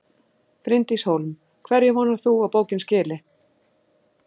Bryndís Hólm: Hverju vonar þú að bókin skili?